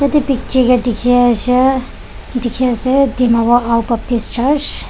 ete picchi ke dikhi ashe dikhi ase dimapur ao baptist church .